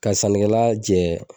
Ka sanɔgɔla jɛ